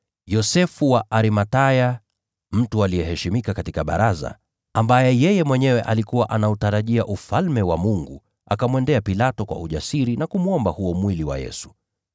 Yosefu wa Arimathaya, mtu aliyeheshimiwa katika Baraza, na ambaye alikuwa anautarajia Ufalme wa Mungu, akamwendea Pilato kwa ujasiri na kumwomba mwili wa Yesu.